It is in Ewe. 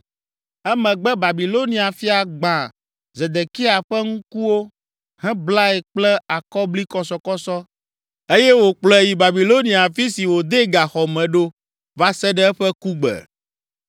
Emegbe Babilonia fia gbã Zedekia ƒe ŋkuwo heblae kple akɔblikɔsɔkɔsɔ eye wòkplɔe yi Babilonia afi si wòdee gaxɔ me ɖo va se ɖe eƒe kugbe.